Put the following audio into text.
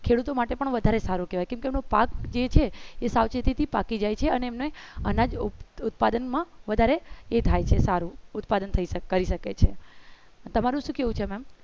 ખેડૂતો માટે પણ વધારે સારું કહેવાય પાક જે છે એ સાવચેતી થી પાકી જાય છે અને એમને અનાજ ઉત્પાદનમાં વધારે એ થાય છે સારું ઉત્પાદન થઈ શકે છે તમારું શું કેવું છે maam